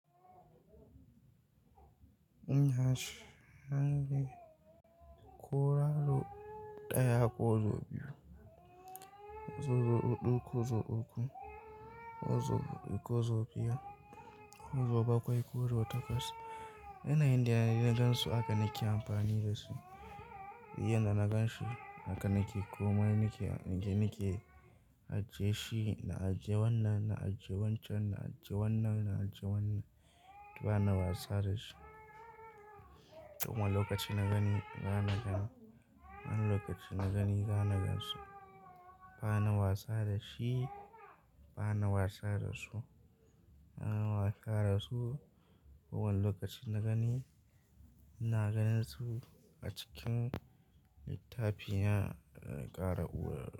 In yace, zan je ƙura ruɗaya ko zo biyu, zo zo huɗu ko zo uku, ko zo biyar, ko zo bakwai ko ruɗa takwas. Ina inda na gan su haka nake amfani da su. Iyan da na gan shi haka nake komai nake, nake, nake ajiye shi na ajiye wannan, na ajiye wancan, na ajiye wannan, na ajiye wannan bana wasa da shi. Kuma lokacin na gani, na nagan. Wani lokacin na gani, na gan su. Bana wasa da shi, bana wasa da su, bana wasa da su. Kowane lokaci na gani, ina ganin su a cikin littafi na ƙara uwar.